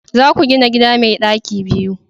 za ku gina gida mai daki biyu!